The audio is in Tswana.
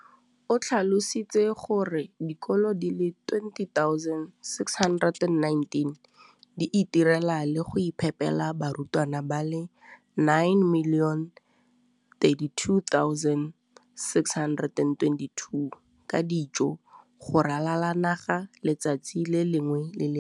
o tlhalositse gore dikolo di le 20 619 di itirela le go iphepela barutwana ba le 9 032 622 ka dijo go ralala naga letsatsi le lengwe le le lengwe.